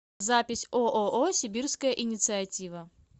запись ооо сибирская инициатива